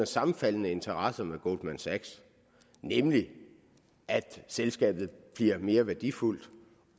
sammenfaldende interesser med goldman sachs nemlig at selskabet bliver mere værdifuldt